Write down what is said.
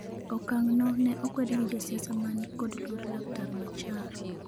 okang' no ne okwed gi jo siasa mani kod luor laktar Machar